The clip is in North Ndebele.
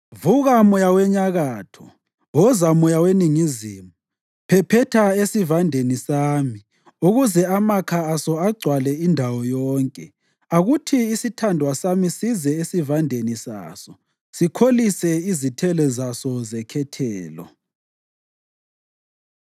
Vuka moya wenyakatho, woza moya weningizimu! Phephetha esivandeni sami, ukuze amakha aso agcwale indawo yonke. Akuthi isithandwa sami size esivandeni saso sikholise izithelo zaso zekhethelo.